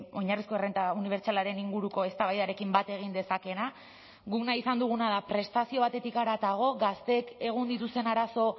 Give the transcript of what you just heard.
oinarrizko errenta unibertsalaren inguruko eztabaidarekin bat egin dezakeena guk nahi izan duguna da prestazio batetik haratago gazteek egun dituzten arazo